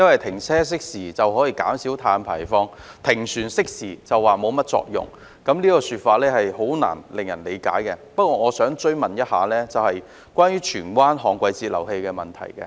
停車熄匙便說可以減少碳排放，但停船熄匙卻說沒甚麼作用，這說法令人難以理解，但我想追問的是有關荃灣的旱季截流器的問題。